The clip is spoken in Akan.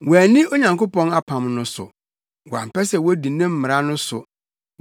Wɔanni Onyankopɔn apam no so, wɔampɛ sɛ wodi ne mmara no so.